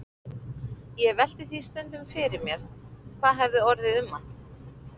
Ég velti því stundum fyrir mér hvað orðið hefði um hann.